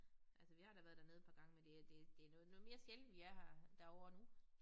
Altså vi har da været dernede et par gange men det det det noget noget mere sjældent vi er her derovre nu